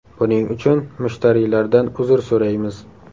Buning uchun mushtariylardan uzr so‘raymiz.